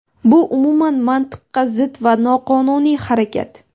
bu umuman mantiqqa zid va noqonuniy harakat!.